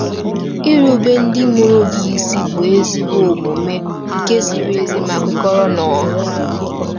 Irubere ndị mụrụ gị isi “bụ ezi omume”—nke ziri ezi ma kwekọrọ n’ọnà.